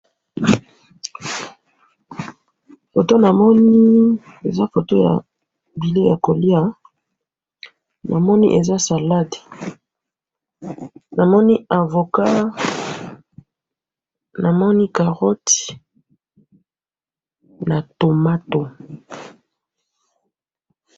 photo namoni eza photo ya bileye ya kolya namoni eza salade namoni avocat, namoni carotti namoni na tomato